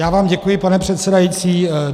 Já vám děkuji, pane předsedající.